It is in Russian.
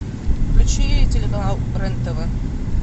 включи телеканал рен тв